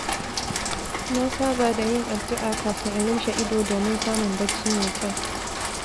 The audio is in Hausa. Na saba da yin addu’a kafin in lumshe ido domin samun bacci mai kyau.